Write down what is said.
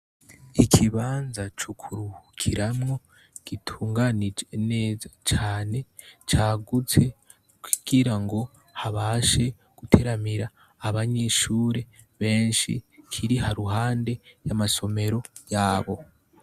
Ikibanza co kuruhukiramwo gitunganije neza cane cagutse kugirango habashe guteramira abanyeshure benshi Kiri Ha ruhande y'amasomero yabo.